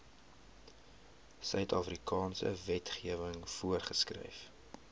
suidafrikaanse wetgewing voorgeskryf